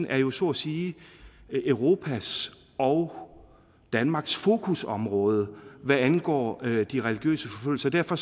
jo så at sige er europas og danmarks fokusområde hvad angår de religiøse forfølgelser derfor